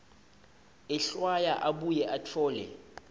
ehlwaya abuye atfole